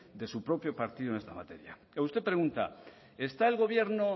de su propio partido en esta materia usted pregunta está el gobierno